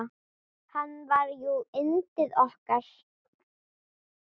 Hann var jú yndið okkar.